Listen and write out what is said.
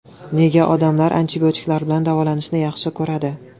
Nega odamlar antibiotiklar bilan davolanishni yaxshi ko‘radi?